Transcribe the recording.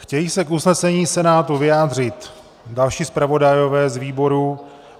Chtějí se k usnesení Senátu vyjádřit další zpravodajové z výborů?